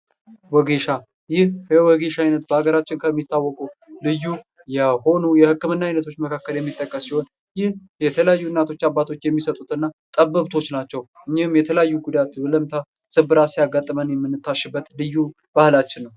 ወገሻ ይህ የወገሻ አይነት በሀገራችን ከሚታወቀው ልዩ የሆኑ የህክምና አይነቶች መካከል የሚጠቀስ ሲሆን ይህ የተለያዩ እናቶች አባቶች የሚሰጡትና ጥበብቶች ናቸው :: እኝህም የተለያዩ ጉዳቶች ወለምታ፣ ስብራት ያሲያጋጥም ህመም የምንታሽበት ልዩ ባህላችን ነው ::